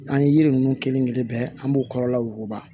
An ye yiri ninnu kelen-kelen bɛɛ an b'o kɔrɔla woba